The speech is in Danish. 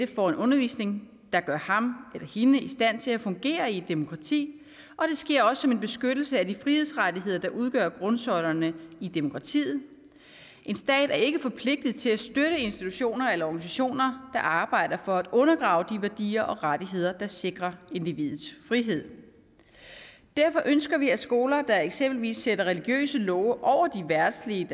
får en undervisning der gør ham eller hende i stand til at fungere i et demokrati og det sker også som en beskyttelse af de frihedsrettigheder der udgør grundsøjlerne i demokratiet en stat er ikke forpligtet til at støtte institutioner eller organisationer der arbejder for at undergrave de værdier og rettigheder der sikrer individets frihed derfor ønsker vi at skoler der eksempelvis sætter religiøse love over de verdslige